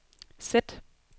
sæt